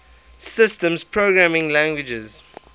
systems programming languages